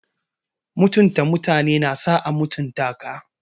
Mutunta mutane na sa a mutunta ka.